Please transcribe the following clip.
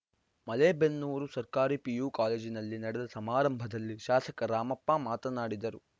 ಮಲೇಬೆನ್ನೂರು ಸರ್ಕಾರಿ ಪಿಯು ಕಾಲೇಜಿನಲ್ಲಿ ನಡೆದ ಸಮಾರಂಭದಲ್ಲಿ ಶಾಸಕ ರಾಮಪ್ಪ ಮಾತನಾಡಿದರು